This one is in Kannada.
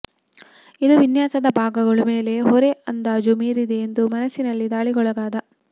ಇದು ವಿನ್ಯಾಸದ ಭಾಗಗಳು ಮೇಲೆ ಹೊರೆ ಅಂದಾಜು ಮೀರಿದೆ ಎಂದು ಮನಸ್ಸಿನಲ್ಲಿ ದಾಳಿಗೊಳಗಾದ